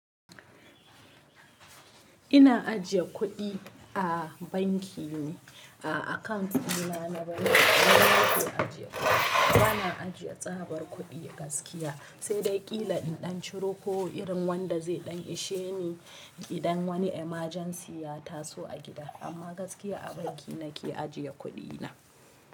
Ina ajiye kuɗi a banki ne, a account dina na banki. Nan na ke ajiye kuɗi. Bana ajiye tsabar kuɗi gaskiya, sai dai ƙila in ɗan ciro ko irin wanda zai ɗan ishe ni idan wani emergency ya taso a gida. Amma gaskiya a banki nake ajiye kuɗi na.